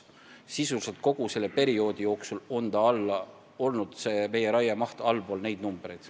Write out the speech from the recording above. Sisuliselt on kogu selle perioodi jooksul raiemaht olnud allpool neid numbreid.